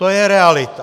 To je realita.